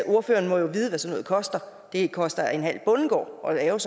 ordføreren må jo vide hvad sådan noget koster det koster en halv bondegård at lave